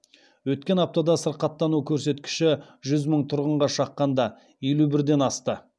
өткен аптада сырқаттану көрсеткіші жүз мың тұрғынға шаққанда елу бірден асты